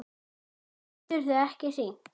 Geturðu ekki hringt?